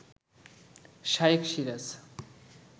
Shaikh Siraj